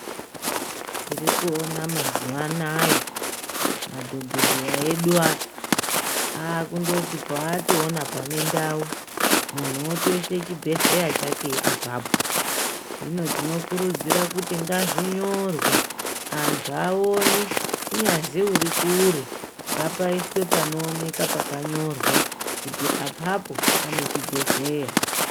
Tiri kuona mazuwanaya, madhokodheya edu aya, akundoti paatowona pane ndau, munhu wotoyise chibhedhleya chake apapo, hino tinokurudzira kuti ngazvinyorwe antu awone, kunyazi uri kure ngapayiswe panooneka pakanyorwa kuti apapo pane chibhedhleya.